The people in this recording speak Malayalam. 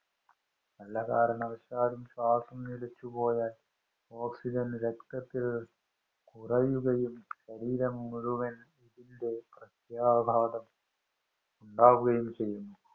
വല്ല കാരണവശാലും ശ്വാസം നിലച്ചുപോയാല്‍ ഓക്സിജന്‍ രക്തത്തില്‍ കുറയുകയും, ശരീരം മുഴുവന്‍ ഇതിന്‍റെ പ്രത്യാഘാതം ഉണ്ടാകുകയും ചെയ്യുന്നു.